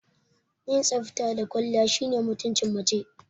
Yin tsafta da kwalliya shine mutumcin mace